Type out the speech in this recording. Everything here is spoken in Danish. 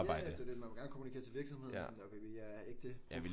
Ja ja det er jo det man vil jo gerne kommunikere til virksomheden og sådan der okay vi er ægte prof